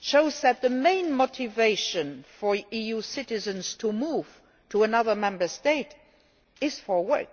shows that the main motivation for EU citizens to move to another Member State is for work.